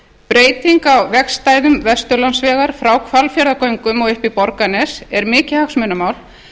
breyting á vegarstæðum vesturlandsvegar frá hvalfjarðargöngum og upp í borgarnes er mikið hagsmunamál